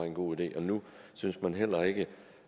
en god idé og nu synes man heller ikke